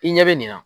I ɲɛ bɛ nin na